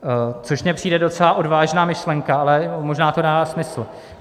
- Což mně přijde docela odvážná myšlenka, ale možná to dává smysl.